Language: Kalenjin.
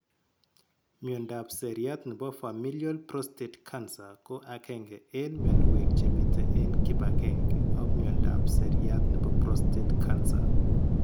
Miondop seriat nebo Familial prostate cancer ko agenge eng' mionwek chemite eng' kibagenge ak miondop seriat nebo prostate cancer